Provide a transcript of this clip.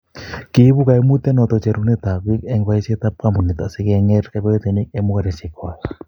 kiibu kaimutiet noto cherunekab biik eng' boisietab kampunit asikeng'erng kiboitinik eng' mung'aresiek kwach